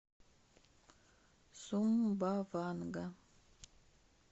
сумбаванга